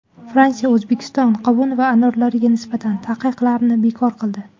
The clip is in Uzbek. Fransiya O‘zbekiston qovun va anorlariga nisbatan taqiqlarni bekor qildi.